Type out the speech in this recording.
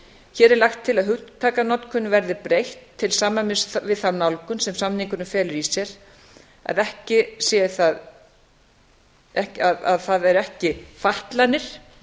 hér er lagt til að hugtakanotkun verði breytt til samræmis við þá nálgun sem samningurinn felur í sér að það eru ekki fatlanir